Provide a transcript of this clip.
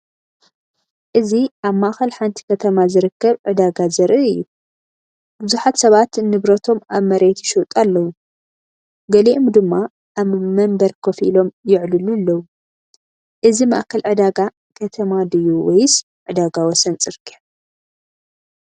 እዚ ኣብ ማእከል ሓንቲ ከተማ ዝርከብ ዕዳጋ ዘርኢ እዩ። ብዙሓት ሰባት ንብረቶም ኣብ መሬት ይሸጡ ኣለዉ፡ ገሊኦም ድማ ኣብ መንበር ኮፍ ኢሎም ይዕልሉ ኣለዉ። እዚ ማእከል ዕዳጋ ከተማ ድዩ ወይስ ዕዳጋ ወሰን ጽርግያ?